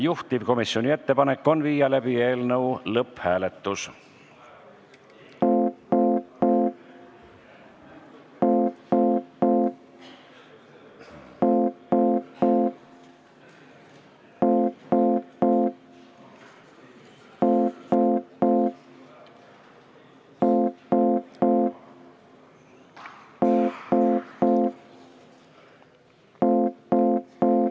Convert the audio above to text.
Juhtivkomisjoni ettepanek on viia läbi eelnõu lõpphääletus.